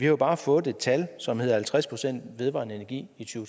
jo bare fået et tal som hedder halvtreds procent vedvarende energi i to